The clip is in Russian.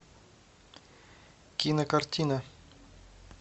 кинокартина